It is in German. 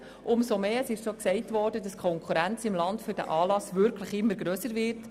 Es gilt zu beachten, dass die nationale Konkurrenz immer grösser wird.